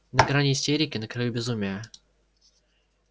на грани истерики на краю безумия